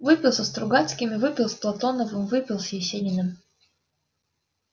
выпил со стругацкими выпил с платоновым выпил с есениным